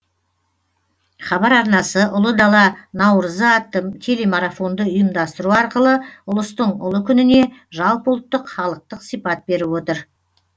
хабар арнасы ұлы дала наурызы атты телемарафонды ұйымдастыру арқылы ұлыстың ұлы күніне жалпыұлттық халықтық сипат беріп отыр